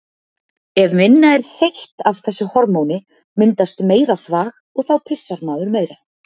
Ef minna er seytt af þessu hormóni myndast meira þvag og þá pissar maður meira.